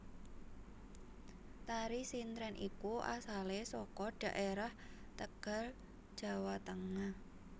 Tari sintren iku asale saka dhaerah Tegal Jawa Tengah